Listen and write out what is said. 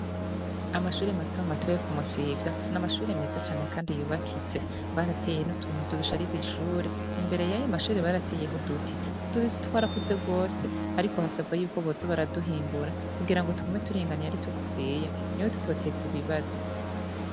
Amashure matomato yo ku Musivya, n'amashure meza Kandi yubakije. Barateye n'utuntu twoshariza ishure, imbere yayo mashure barateye'uduti ,utwo duti twarakuze gose ariko hasabwa yuko boza baraduhimbura kugira ngo tugume turinganiye ari tugufiya niho tutotez'ibibazo.